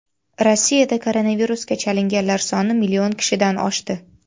Rossiyada koronavirusga chalinganlar soni million kishidan oshdi.